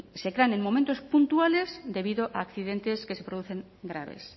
se crean en momentos puntuales debido a accidentes que se producen graves